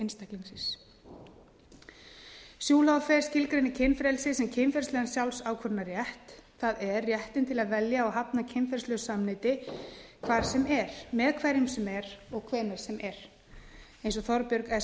einstaklingsins schulhofer skilgreinir kynfrelsi sem kynferðislegan sjálfsákvörðunarrétt það er réttinn til að velja og hafna kynferðislegu samneyti hvar sem er með hverjum sem er og hvenær sem er eins og þorbjörg s